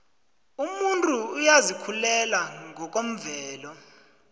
umuntu uyazikhulela ngokwemvelo